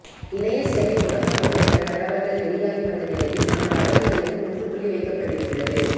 இணைய சேவை முடக்கப்படும் என்ற தகவல்கள் வெளியாகி வந்த நிலையில் அந்த வதந்திகளுக்கு முற்றுப்புள்ளி வைக்கப்பட்டிருக்கிறது